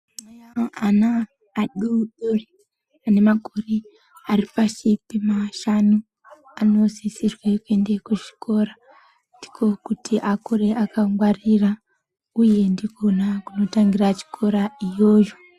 Ana adodori ane makore aripashi pemashanu anosisirwe kuende kuzvikora. Ndiko kuti akure akangwarira, uye ndikona kunotangira chikora iyoyo.